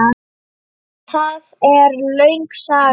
Það er löng saga.